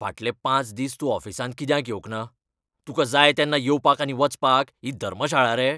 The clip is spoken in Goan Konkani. फाटले पांच दीस तूं ऑफिसांत कित्याक येवंक ना? तुका जाय तेन्ना येवपाक आनी वचपाक ही धर्मशाळा रे?